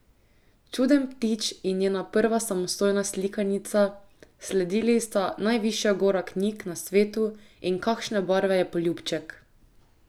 Čuden ptič je njena prva samostojna slikanica, sledili sta Najvišja gora knjig na svetu in Kakšne barve je poljubček?